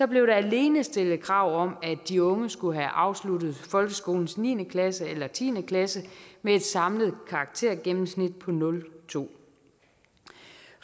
blev der alene stillet krav om at de unge skulle have afsluttet folkeskolens niende klasse eller tiende klasse med et samlet karaktergennemsnit på nul to